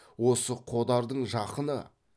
осы қодардың жақыны